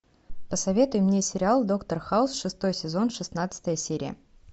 посоветуй мне сериал доктор хаус шестой сезон шестнадцатая серия